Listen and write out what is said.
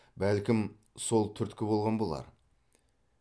бәлкім сол түрткі болған болар